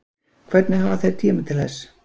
Hvernig hafa þeir tíma til þess